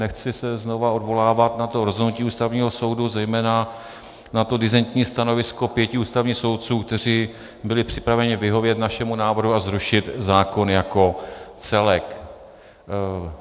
Nechci se znova odvolávat na to rozhodnutí Ústavního soudu, zejména na to disentní stanovisko pěti ústavních soudců, kteří byli připraveni vyhovět našemu návrhu a zrušit zákon jako celek.